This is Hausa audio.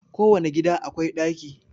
Kowane gida akwai daki